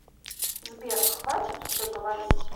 сбер хватит уже говорить